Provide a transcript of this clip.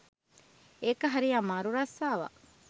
ඒක හරි අමාරු රස්සාවක්.